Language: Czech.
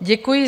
Děkuji.